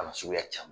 A na suguya caman